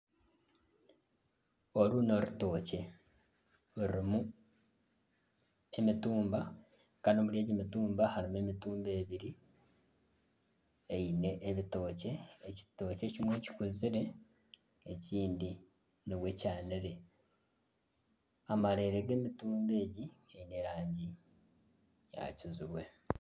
Oru, ni orutokye rurimu emitumba Kandi omuri egi mitumba, harimu emitumba ebiri eine ebitokye. Ekitokye ekimwe kikuzire, ekindi nibwe kyanire. Amareere g'emitumba egi giine erangi ya kijubwe.